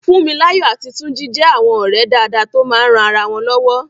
Fúnmiláyọ̀ àti Túnjí jẹ́ àwọn ọ̀rẹ́ dáadáa tó máa ń ran ara wọn lọ́wọ́